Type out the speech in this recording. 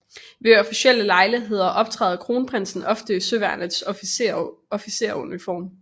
Ved officielle lejligheder optræder kronprinsen ofte i Søværnets officersuniform